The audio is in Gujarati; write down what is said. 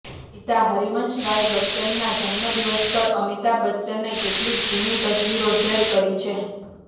પિતા હરિવંશ રાય બચ્ચનનાં જન્મદિવસ પર અમિતાભ બચ્ચને કેટલીક જુની તસવીરો શેર કરી છે